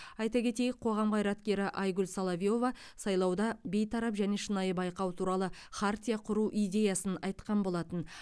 айта кетейік қоғам қайраткері айгүл соловьева сайлауда бейтарап және шынайы байқау туралы хартия құру идеясын айтқан болатын